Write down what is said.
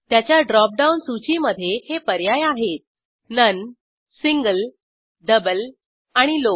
त्याच्या drop down सूचीमधे हे पर्याय आहेत नोन सिंगल डबल आणि लॉव